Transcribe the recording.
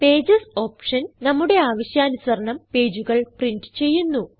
pages option നമ്മുടെ ആവശ്യാനുസരണം പേജുകൾ പ്രിന്റ് ചെയ്യുന്നു